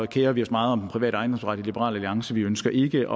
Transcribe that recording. kerer vi os meget om den private ejendomsret i liberal alliance vi ønsker ikke